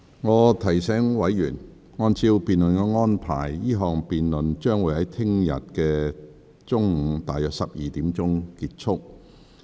我提醒委員，按照辯論安排，這項辯論將於明天約中午12時結束。